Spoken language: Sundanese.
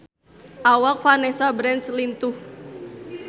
Awak Vanessa Branch lintuh